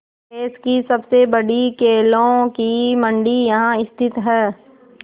देश की सबसे बड़ी केलों की मंडी यहाँ स्थित है